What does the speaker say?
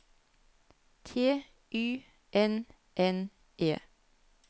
T Y N N E